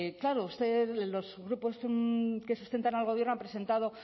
claro ustedes los grupos que sustentan al gobierno han presentado